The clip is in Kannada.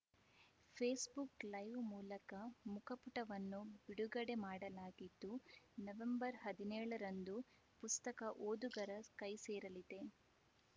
ಫೇಸ್‌ಬುಕ್‌ ಲೈವ್‌ ಮೂಲಕ ಮುಖಪುಟವನ್ನು ಬಿಡುಗಡೆ ಮಾಡಲಾಗಿದ್ದು ನವೆಂಬರ್ ಹದಿನೇಳರಂದು ಪುಸ್ತಕ ಓದುಗರ ಕೈಸೇರಲಿದೆ